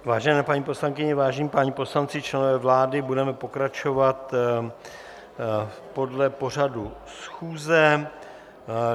Vážené paní poslankyně, vážení páni poslanci, členové vlády, budeme pokračovat podle pořadu schůze.